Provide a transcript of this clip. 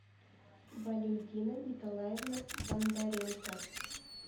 валентина николаевна бондаренко